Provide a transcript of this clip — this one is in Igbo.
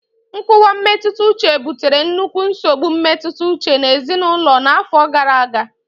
nkuwa mmetụta uche butere nnukwu nsogbu mmetụta uche na ezinaụlọ n'afọ gara aga.